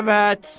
Əvət!